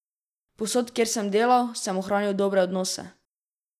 Povsod, kjer sem delal, sem ohranil dobre odnose.